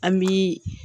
An bi